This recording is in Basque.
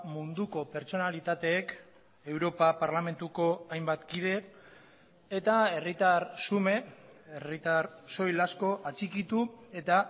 munduko pertsonalitateek europa parlamentuko hainbat kide eta herritar xume herritar soil asko atxikitu eta